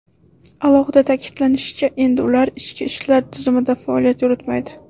Alohida ta’kidlanishicha, endi ular ichki ishlar tizimida faoliyat yuritmaydi.